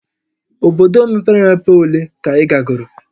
Obodo mepere emepe ole ka ị jegoro?